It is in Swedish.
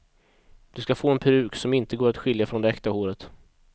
Du ska få en peruk som inte går att skilja från det äkta håret.